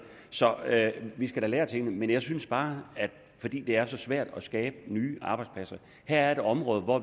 så vi skal da lære af tingene men jeg synes bare fordi det er så svært at skabe nye arbejdspladser at her er et område hvor